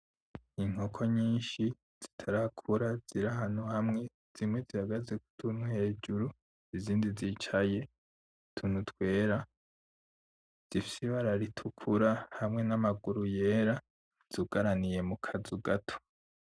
Inkoko nyinshi zitarakura ziri ahantu hamwe, zimwe zihagaze kutuntu hejuru izindi zicaye kutuntu twera, zifise Ibara ritukura hamwe n'Amaguru yera zugaraniye mukazu gato.